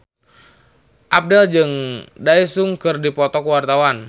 Abdel jeung Daesung keur dipoto ku wartawan